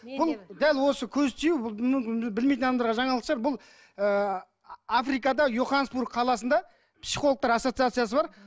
бұл дәл осы көз тию білмейтін адамдарға жаңалық шығар бұл ыыы африкада йоханнесбург қаласында психологтар ассоциациясы бар